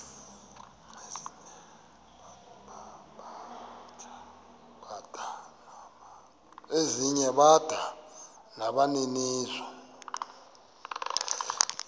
ezinye bada nabaninizo